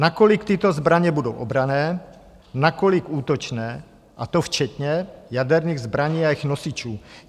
Nakolik tyto zbraně budou obranné, nakolik útočné, a to včetně jaderných zbraní a jejich nosičů.